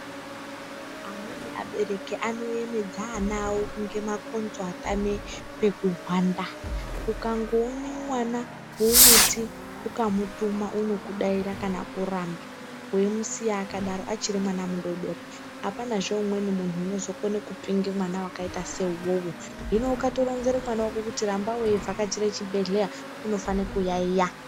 Amweni abereki anoyemedza ana awo ngemakonzo atame pekuhwanda. Ukangoone mwana wekuti ukamutuma unokudaira kana kuramba weimusiya akadaro achiri mwana mudodori apanazve umweni munhu unozokone kupinge mwana wakaite seuwowo. Hino ukatoronzere mwana kuti ramba weivhakachira chibhehleya unofana kuyaiya.